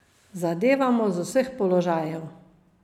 Zadevamo z vseh položajev.